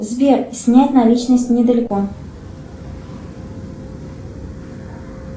сбер снять наличность недалеко